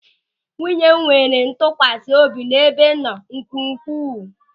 Nwunye m nwere ntụkwasị obi n'ebe m nọ nke ukwuu.